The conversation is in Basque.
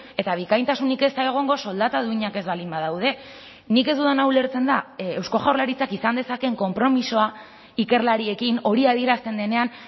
eta bikaintasunik ez da egongo soldata duinak ez baldin badaude nik ez dudana ulertzen da eusko jaurlaritzak izan dezakeen konpromisoa ikerlariekin hori adierazten denean